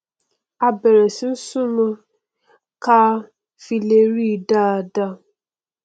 a bẹrẹ sí í súnmọ ọn káa fi lè ríi dáadáa